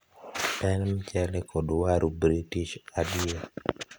en mchele kod waru british adier